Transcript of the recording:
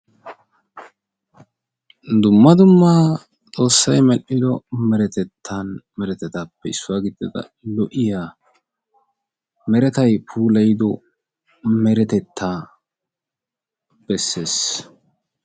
Dumma dumma xoossay medhdhido meretatuppe issuwa gidida lo'iyaa meretay puulayido meretettaa bessees.